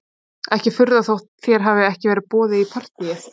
Ekki að furða þótt þér hafi ekki verið boðið í partíið